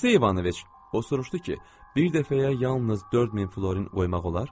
Aleksey Ivanoviç, o soruşdu ki, bir dəfəyə yalnız 4000 florin qoymaq olar?